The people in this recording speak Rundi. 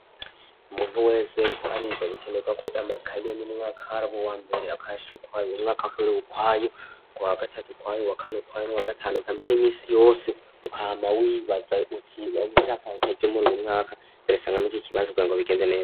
Umuntu wese ariko ariga bikenerwa ko amakaye yo mu mwaka habu uwambere akayashire ukwayo umwaka wa kabiri ukwayo uwa gatatu uwa kane ukwayo nuwa gatanu ukwayo eka mbere imisi yose ukama wibaza uti woba ushaka ikaye ryo muruyu mwaka ndarisanga muriki kibanze kugingo bigende neza.